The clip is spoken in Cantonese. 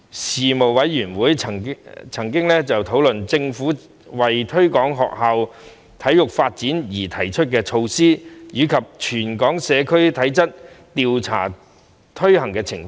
事務委員會曾討論政府為推廣學校體育發展而提出的措施，以及全港社區體質調查的推行情況。